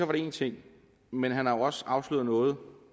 var én ting men han har også afsløret noget